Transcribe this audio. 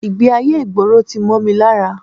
Ìgbé-ayé ìgboro tí mọ́ mi lára